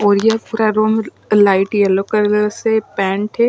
ओर यह पूरा room light yellow colour से पैंट है।